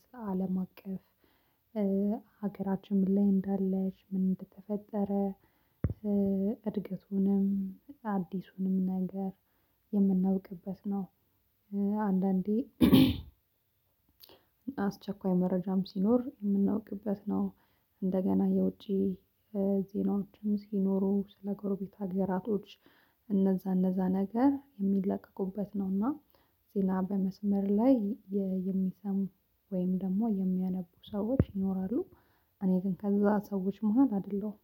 ስለ አለም አቀፍ ሀገራችን ምን ላይ እንዳለች ምን ተፈጠረ? እድገቱንም አዲሱንም ነገር የምናውቅበት ነው። አንዳንዴ አስቸኳይ መረጃም ሲኖር የምናውቅበት ነው። እንደገና የውጪ ዜናዎችም ሲኖሩ ስለ ጎረቤት አገራቶች እነዛ እነዛ ነገር የሚለቀቁበት ነውና። ዜና በመስመር ላይ የሚሰሙ ወይም ደግሞ የሚያነቡ ሰዎች ይኖራሉ። እኔ ግን ከዛ ሰዎች መሃል አይደለሁም።